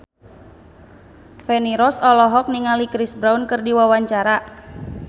Feni Rose olohok ningali Chris Brown keur diwawancara